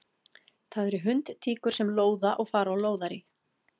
Það eru hundtíkur sem lóða og fara á lóðarí.